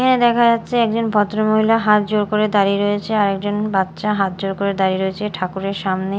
এখানে দেখা যাচ্ছে একজন ভদ্রমহিলা হাত জোড় করে দাড়িয়ে রয়েছে আরেকজন বাচ্চা হাত জোড় করে দাড়িয়ে রয়েছে ঠাকুরের সামনে।